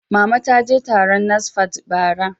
Mama ta je taron NASFAT, bara.